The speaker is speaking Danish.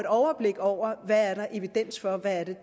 overblik over hvad der er evidens for og hvad